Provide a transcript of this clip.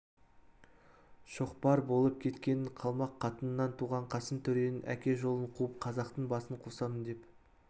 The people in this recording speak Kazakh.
шоқпар болып кеткенін қалмақ қатынынан туған қасым төренің әке жолын қуып қазақтың басын қосамын деп